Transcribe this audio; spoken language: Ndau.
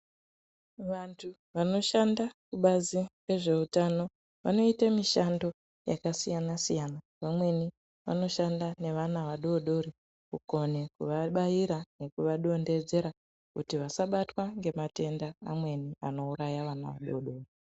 Vantu vanoshanda kubazi rezveutano vanoite mishando yakasiyana siyana vamweni vanoshanda nevana vadodori kukone kuvabaira nekuvadondedzera kuti vasabatwa ngematenda amweni anouraya vana vadodori.